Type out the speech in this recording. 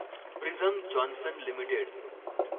prism Johnson limited